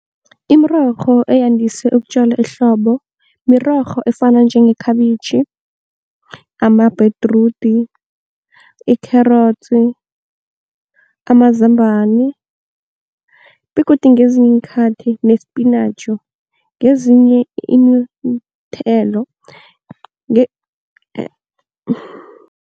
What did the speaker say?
Imirorho eyandise ukutjala ehlobo mirorho efana njengekhabitjhi, amabhedrudi, ikherotsi, amazambani, begodu ngezinye iinkhathi nespinatjhi ngezinye iinthelo